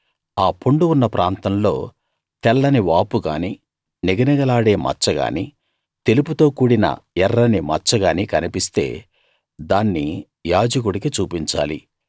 ఆ పుండు ఉన్న ప్రాంతంలో తెల్లని వాపుగానీ నిగనిగలాడే మచ్చ గానీ తెలుపుతో కూడిన ఎర్రని మచ్చ గానీ కన్పిస్తే దాన్ని యాజకుడికి చూపించాలి